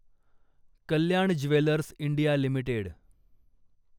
Kalyan jewellers India limited